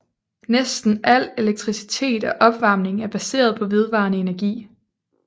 Næsten al elektricitet og opvarmning er baseret på vedvarende energi